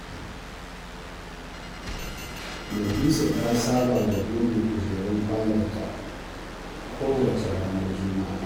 Nafisa ta saba da goge kujerun falonta kowace ranar Juma'a.